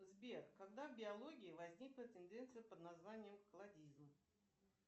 сбер когда в биологии возникла тенденция под названием кладизм